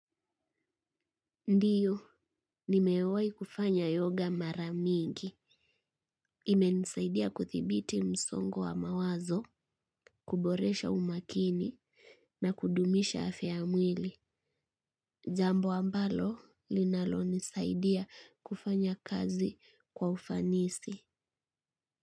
Ndiyo, nimewai kufanya yoga mara mingi. Imenisaidia kuthibiti msongo wa mawazo, kuboresha umakini na kudumisha afya ya mwili. Jambo ambalo linalonisaidia kufanya kazi kwa ufanisi.